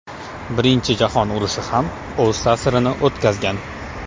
Birinchi jahon urushi ham o‘z ta’sirini o‘tkazgan.